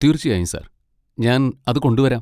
തീർച്ചയായും, സർ! ഞാൻ അത് കൊണ്ട് വരാം.